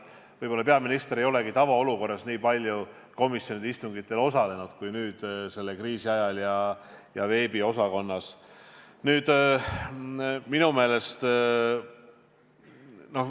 Võib-olla peaminister ei olegi tavaolukorras nii palju komisjonide istungitel osalenud kui selle kriisi ajal veebikeskkonnas.